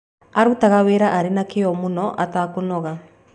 Aarutaga wĩra arĩ na kĩyo mũno atekũnoga.